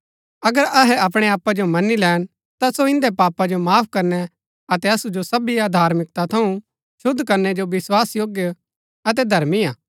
अगर अहै अपणै पापा जो मनी लैन ता सो इन्दै पापा जो माफ करनै अतै असु जो सबी अधार्मिकता थऊँ शुद्व करनै जो विस्वासयोग्य अतै धर्मी हा